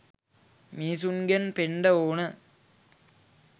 මිනිස්සුන්ගෙන් පෙන්ඩ ඕන.